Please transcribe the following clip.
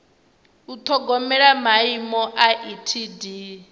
u ṱhogomela maimo a etd